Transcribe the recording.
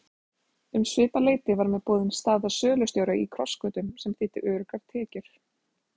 Um svipað leyti var mér boðin staða sölustjóra í Krossgötum sem þýddi öruggar tekjur.